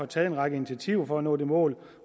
taget en række initiativer for at nå det mål